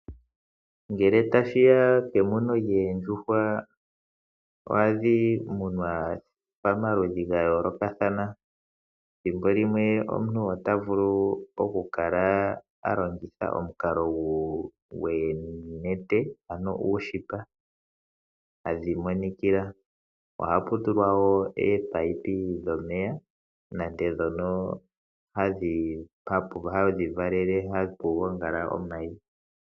Ngele tashiya kemuno lyoondjuhwa ohadhi munwa pamaludhi ga yooloka thana thimbo limwe omuntu ota vulu oku kala alongitha omukalo goonete ano uushipa hadhi monikila. Ohapu tulwa woo ominino dhomeya nande dhono hadhi valele hapu gongala omayi.